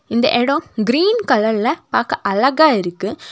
இந்த எடோ கிரீன் கலர்ல பாக்க அழகா இருக்கு.